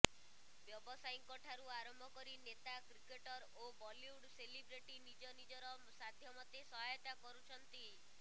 ବ୍ୟାବସାୟୀଙ୍କଠାରୁ ଆରମ୍ଭ କରି ନେତା କ୍ରିକେଟର୍ ଓ ବଲିଉଡ୍ ସେଲିବ୍ରିଟି ନିଜ ନିଜର ସାଧ୍ୟମତେ ସହାୟତା କରୁଛନ୍ତି